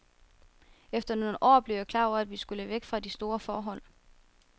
Efter nogle år blev jeg klar over, at vi skulle væk fra de store forhold.